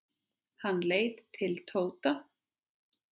Hann leit til Tóta.